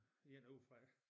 En udefra